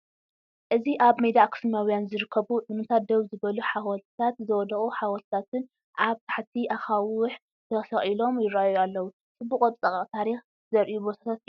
እዚ ኣብ ሜዳ ኣኽሱማውያን ዝርከቡ ዑናታት ደው ዝበሉ ሓወልተታት ዝወደቑ ሓውልትታትን ኣብ ትሕቲ ኣኻውሕ ተሰቒሎም ይረኣዩ ኣለው፤ ጽቡቕ ቅርጻ ታሪኽ ዘርእዩ ቦታታት እዮም።